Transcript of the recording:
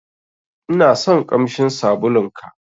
Inason ƙamshin sabulun ka.